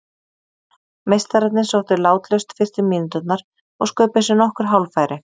Meistararnir sóttu látlaust fyrstu mínúturnar og sköpuðu sér nokkur hálffæri.